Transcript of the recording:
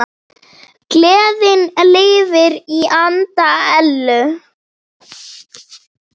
Gleðin lifir í anda Ellu.